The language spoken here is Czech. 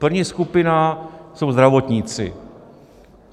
První skupina jsou zdravotníci.